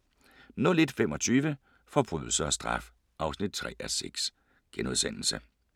01:25: Forbrydelse og straf (3:6)*